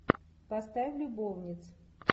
поставь любовниц